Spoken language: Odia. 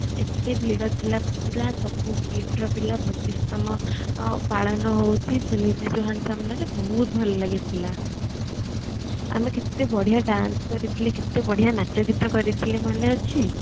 ଏତେ ଭିଡ ଥିଲା ପୁରା ସବୁ KIIT ର ପିଲା ପଚିଶ ତମ ପାଳନ ହଉଛି ବହୁତ ଭଲ ଲାଗିଥିଲା ଆମେ କେତେ ବଢିଆ dance କରିଥିଲେ କେତେ ବଢିଆ ନାଚ ଗୀତ କରିଥିଲେ ମନେ ଅଛି